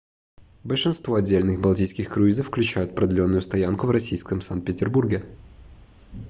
большинство отдельных балтийских круизов включают продленную стоянку в российском санкт-петербурге